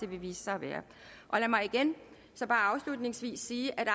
vil vise sig at være lad mig igen så bare afslutningsvis sige at